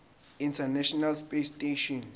international space station